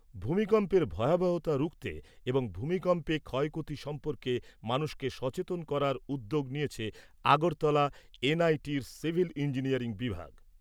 ভূমিকম্পের ভয়াবহতা রুখতে এবং ভূমিকম্পে ক্ষয়ক্ষতি সম্পর্কে মানুষকে সচেতন করার উদ্যোগ নিয়েছে আগরতলা এনআইটির সিভিল ইঞ্জিনিয়ারিং বিভাগ।